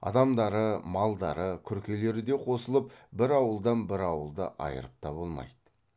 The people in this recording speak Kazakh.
адамдары малдары күркелері де қосылып бір ауылдан бір ауылды айырып та болмайды